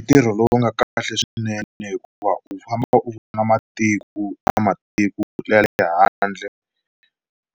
Ntirho lowu nga kahle swinene hikuva u famba u vona matiko na matiko ya le handle